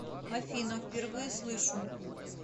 афина впервые слышу